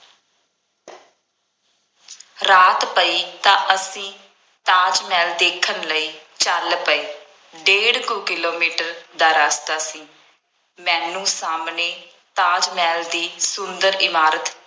ਰਾਤ ਪਈ ਤਾਂ ਅਸੀਂ ਤਾਜ ਮਹਿਲ ਦੇਖਣ ਲਈ ਚੱਲ ਪਏ। ਡੇਢ ਕੁ ਕਿਲੋਮੀਟਰ ਦਾ ਰਸਤਾ ਸੀ। ਮੈਨੂੰ ਸਾਹਮਣੇ ਤਾਜ ਮਹਿਲ ਦੀ ਸੁੰਦਰ ਇਮਾਰਤ